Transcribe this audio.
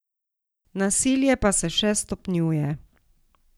Nasilje pa se še stopnjuje.